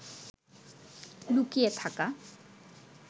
লুকিয়ে থাকা